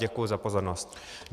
Děkuji za pozornost.